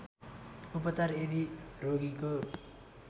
उपचार यदि रोगीको